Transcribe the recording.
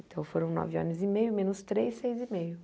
Então, foram nove anos e meio, menos três, seis e meio.